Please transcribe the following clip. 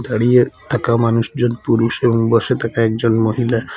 দাঁড়িয়ে থাকা মানুষজন পুরুষ এবং বসে থাকা একজন মহিলা--